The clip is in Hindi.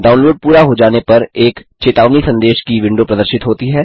डाउनलोड पूरा हो जाने पर एक चेतावनी संदेश की विंडो प्रदर्शित होती है